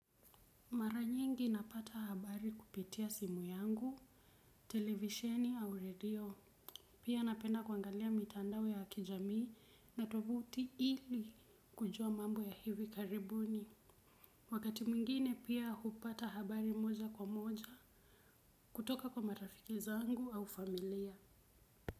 Mara nyingi napata habari kupitia simu yangu, televisheni au redio. Pia napenda kuangalia mitandao ya kijamii na tovuti ili kujua mambo ya hivi karibuni. Wakati mwingine pia hupata habari moja kwa moja kutoka kwa marafiki zangu au familia.